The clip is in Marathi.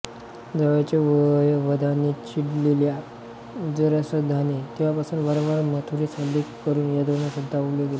जावयाच्या वधाने चिडलेल्या जरासंधाने तेव्हापासून वारंवार मथुरेवर हल्ले करून यादवांना सतावले होते